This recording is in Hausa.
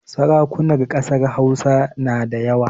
Sarakunan ƙasar Hausa na da yawa